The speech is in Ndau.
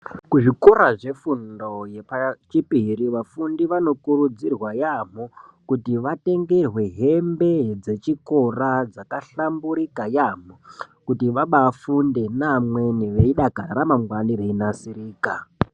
Kuzvikora zvefundo yechipiri vafundi vanokurudzirwa yaamho kuti vatengerwe hembe dzechikora dzakahlamburika yaamho, kuti vaba afunde neamweni veidakara ramangwani reinasirika.